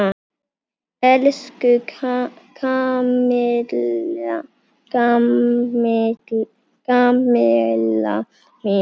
Elsku Kamilla mín.